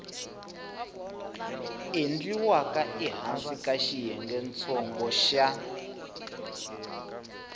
endliwaka ehansi ka xiyengentsongo xa